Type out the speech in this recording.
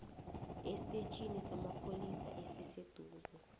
estetjhini samapholisa esiseduze